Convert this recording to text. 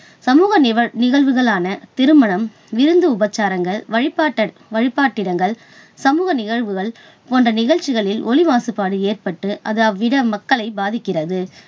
சமூகநிவழ்~நிகழ்வுகளான திருமணம், விருந்து உபசாரங்கள், வழிபாட்ட~வழிபாட்டு இடங்கள், சமூக நிகழ்வுகள் போன்ற நிகழ்ச்சிகளில் ஒலி மாசுபாடு ஏற்பட்டு அது அவ்விட மக்களைப் பாதிக்கிறது.